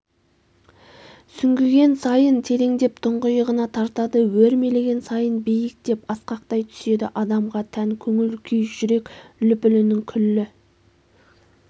сүңгіген сайын тереңдеп тұңғиығына тартады өрмелеген сайын биіктеп асқақтай түседі адамға тән көңіл-күй жүрек лүпілінің күллі